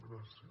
gràcies